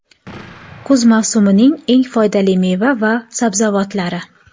Kuz mavsumining eng foydali meva va sabzavotlari.